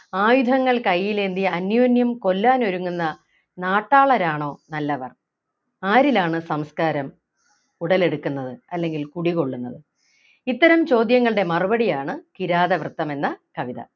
ആയുധങ്ങൾ കയ്യിലേന്തി അന്യോന്യം കൊല്ലാൻ ഒരുങ്ങുന്ന നാട്ടാളരാണോ നല്ലവർ ആരിലാണ് സംസ്കാരം ഉടലെടുക്കുന്നത് അല്ലെങ്കിൽ കുടികൊള്ളുന്നത് ഇത്തരം ചോദ്യങ്ങളുടെ മറുപടിയാണ് കിരാതവൃത്തം എന്ന കവിത